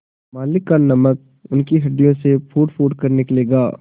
मालिक का नमक उनकी हड्डियों से फूटफूट कर निकलेगा